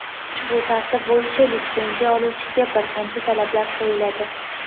ushbu tartib bo‘yicha litsenziya oluvchiga bir qancha talablar qo‘yiladi.